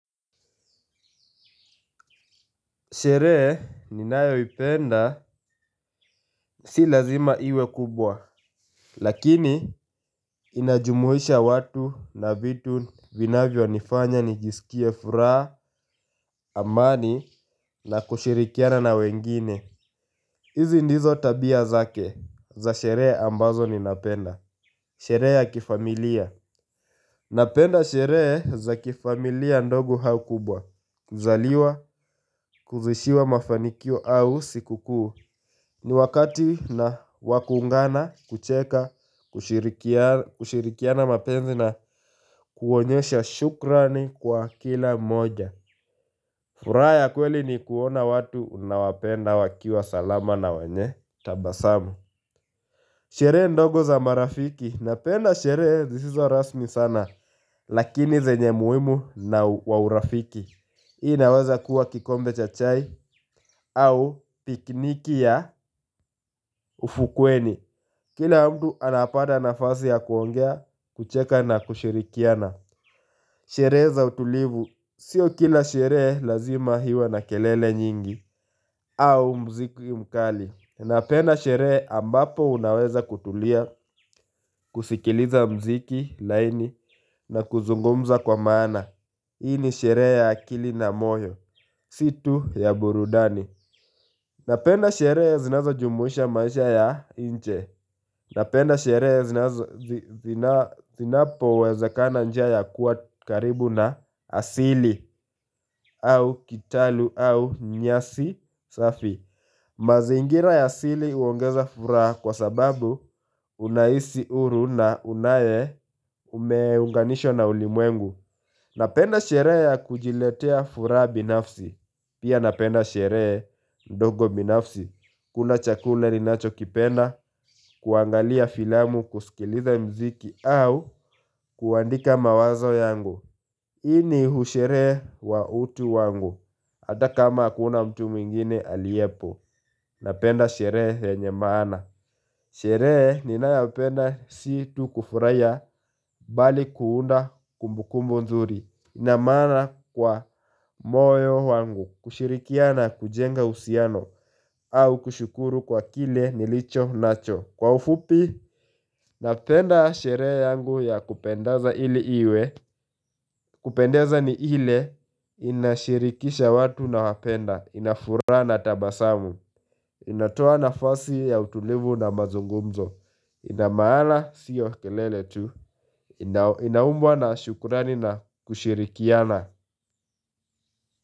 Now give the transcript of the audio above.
Sherehe ninayoipenda, si lazima iwe kubwa. Lakini, inajumuisha watu na vitu vinavyo nifanya nijisikie furaha, amani, na kushirikiana na wengine. Izi ndizo tabia zake za sherehe ambazo ni napenda. Sherehe ya kifamilia. Napenda sherehe za kifamilia ndogo au kubwa. Kuzaliwa, kuzishiwa mafanikio au sikukuu. Ni wakati wakuungana, kucheka, kushirikiana mapenzi na kuonyesha shukrani kwa kila mmoja furaha ya kweli ni kuona watu unaowapenda wakiwa salama na wanye tabasamu Sherehe ndogo za marafiki, napenda sherehe zisizo rasmi sana Lakini zenye muhimu wa urafiki Hii naweza kuwa kikombe cha au pikniki ya ufukweni Kila mtu anapata nafasi ya kuongea, kucheka na kushirikiana Sherehe za utulivu, sio kila sherehe lazima iwe na kelele nyingi au mziki mkali Napenda sherehe ambapo unaweza kutulia, kusikiliza muziki laini na kuzungumza kwa maana Hii ni sherehe ya akili na moyo, si tu ya burudani Napenda sherehe zinazo jumuisha maisha ya nje Napenda sherehe zinapowezekana njia kuwa karibu na asili au kitalu au nyasi safi. Mazingira ya asili huongeza furaha kwa sababu unahisi huru na unaye umeunganishwa na ulimwengu. Napenda sherehe ya kujiletea furaha binafsi. Pia napenda sherehe ndogo binafsi, kula chakula ninachokipenda kuangalia filamu kusikiliza muziki au kuandika mawazo yangu huu usheree wa utu wangu, ata kama hakuna mtu mwingine aliyepo, napenda sherehe yenye maana Sherehe ninayapenda si tu kufurahia bali kuunda kumbukumbu nzuri ina maana kwa moyo wangu, kushirikia na kujenga usiano, au kushukuru kwa kile nilicho nacho Kwa ufupi, napenda sherehe yangu ya kupendeza ili iwe, kupendaza ni ile, inashirikisha watu nawapenda, inafuraha na tabasamu inatoa nafasi ya utulivu na mazungumzo, ina maana sio kelele tu, inaumbwa na shukurani na kushirikia na.